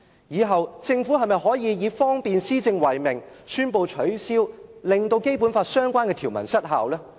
以後政府是否可以以方便施政為名，令《基本法》相關的條文失效呢？